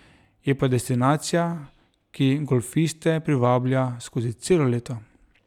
Je pa destinacija, ki golfiste privablja skozi celo leto.